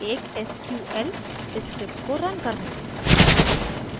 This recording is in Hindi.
एक sql script को रन करना